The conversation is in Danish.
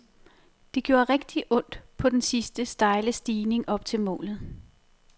Det gjorde rigtigt ondt på den sidste, stejle stigning op til målet.